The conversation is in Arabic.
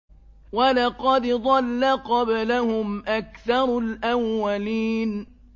وَلَقَدْ ضَلَّ قَبْلَهُمْ أَكْثَرُ الْأَوَّلِينَ